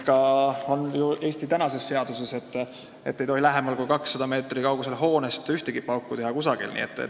Eesti seaduse järgi on ju nii, et hoonele lähemal kui 200 meetrit ei tohi kusagil ühtegi pauku teha.